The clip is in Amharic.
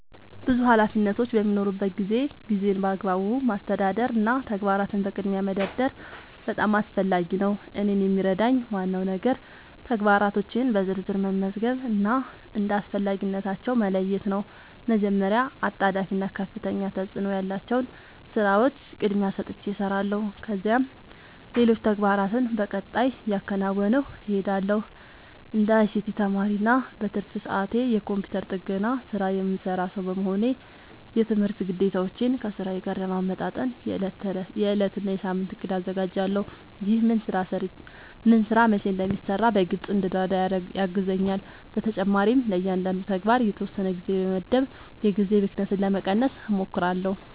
ብዙ ኃላፊነቶች በሚኖሩበት ጊዜ ጊዜን በአግባቡ ማስተዳደር እና ተግባራትን በቅድሚያ መደርደር በጣም አስፈላጊ ነው። እኔን የሚረዳኝ ዋናው ነገር ተግባራቶቼን በዝርዝር መመዝገብ እና እንደ አስፈላጊነታቸው መለየት ነው። መጀመሪያ አጣዳፊ እና ከፍተኛ ተፅእኖ ያላቸውን ሥራዎች ቅድሚያ ሰጥቼ እሰራለሁ፣ ከዚያም ሌሎች ተግባራትን በቀጣይ እያከናወንሁ እሄዳለሁ። እንደ አይሲቲ ተማሪ እና በትርፍ ሰዓቴ የኮምፒውተር ጥገና ሥራ የምሠራ ሰው በመሆኔ፣ የትምህርት ግዴታዎቼን ከሥራዬ ጋር ለማመጣጠን የዕለት እና የሳምንት እቅድ አዘጋጃለሁ። ይህ ምን ሥራ መቼ እንደሚሠራ በግልጽ እንድረዳ ያግዘኛል። በተጨማሪም ለእያንዳንዱ ተግባር የተወሰነ ጊዜ በመመደብ የጊዜ ብክነትን ለመቀነስ እሞክራለሁ።